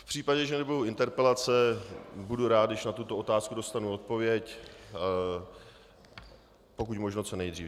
V případě, že nebudou interpelace, budu rád, když na tuto otázku dostanu odpověď pokud možno co nejdřív.